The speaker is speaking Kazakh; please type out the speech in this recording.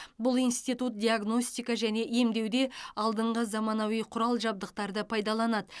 бұл институт диагностика және емдеуде алдыңғы заманауи құрал жабдықтарды пайдаланады